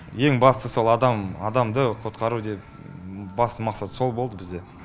ең бастысы сол адам адамды құтқару деп басты мақсат сол болды бізде